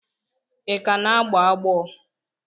Ị ka na-agbọ agbọ?